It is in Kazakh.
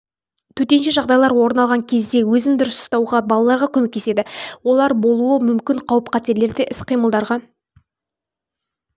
төтенше жағдайлар орын алған кезде өзін дұрыс ұстауға балаларға көмектеседі олар болуы мүмкін қауіп-қатерлерде іс-қимылдарға